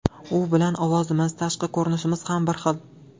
U bilan ovozimiz, tashqi ko‘rinishimiz ham bir xil.